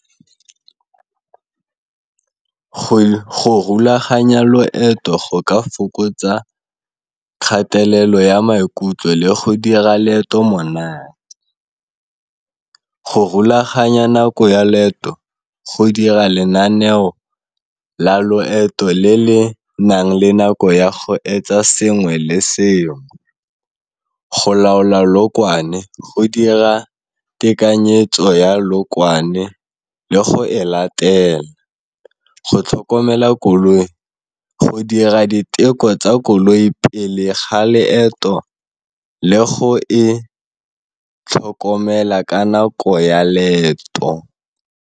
Go rulaganya loeto go ka fokotsa kgatelelo ya maikutlo le go dira leeto monate. Go rulaganya nako ya leeto go dira lenaneo la loeto le le nang le nako ya go etsa sengwe le sengwe. Go laola leokwane go dira tekanyetso ya leokwane le go e latela. Go tlhokomela koloi go dira diteko tsa koloi pele ga leeto le go e tlhokomela ka nako ya leeto.